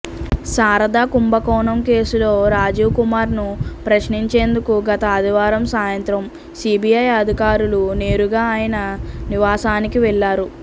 శారదా కుంభకోణం కేసులో రాజీవ్ కుమార్ను ప్రశ్నించేందుకు గత ఆదివారం సాయంత్రం సీబీఐ అధికారులు నేరుగా ఆయన నివాసానికి వెళ్లారు